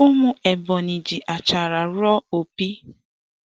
Umu Ebonyi ji achara ruo opi.